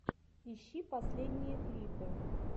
ищи последние клипы